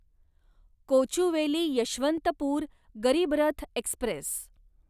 Kochuveli Yeshwantpur Garib Rath Express